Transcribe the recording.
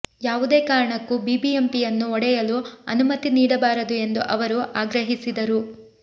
ಯಾವುದೇ ಕಾರಣಕ್ಕೂ ಬಿಬಿಎಂಪಿಯನ್ನು ಒಡೆಯಲು ಅನುಮತಿ ನೀಡಬಾರದು ಎಂದು ಅವರು ಆಗ್ರಹಿಸಿದರು